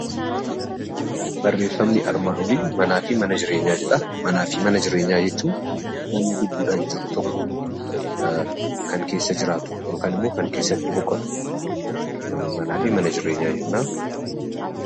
Barreeffamni armaan olii manaa fi mana jireenyaa jedha. Manaa fi mana jireenyaa jechuun namni lubbuudhaan jiru tokko kan keessa jiraatu yookaan immoo kan keessatti boqotu manaa fi mana jireenyaa jenna.